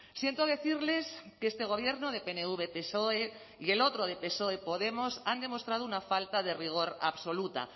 siento decirles que este gobierno de pnv psoe y el otro de psoe podemos han demostrado una falta de rigor absoluta